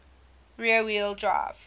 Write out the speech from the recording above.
rear wheel drive